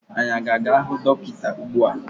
Anyị a ga-ahụ dọkịta ugbu a?